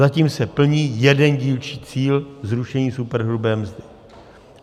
Zatím se plní jeden dílčí cíl - zrušení superhrubé mzdy.